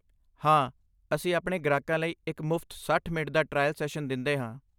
ਹਾਂ, ਅਸੀਂ ਆਪਣੇ ਗ੍ਰਾਹਕਾਂ ਲਈ ਇੱਕ ਮੁਫਤ ਸੱਠ ਮਿੰਟ ਦਾ ਟ੍ਰਾਇਲ ਸੈਸ਼ਨ ਦਿੰਦੇ ਹਾਂ